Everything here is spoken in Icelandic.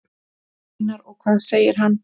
Einar: Og hvað segir hann?